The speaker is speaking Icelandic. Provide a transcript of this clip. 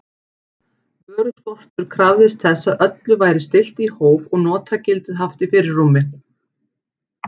Vöruskortur krafðist þess að öllu væri stillt í hóf og notagildið haft í fyrirrúmi.